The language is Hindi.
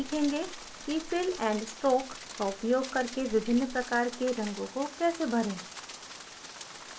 अब हम सीखेंगे कि fill and stroke का उपयोग करके विभिन्न प्रकार के रंगो को कैसे भरें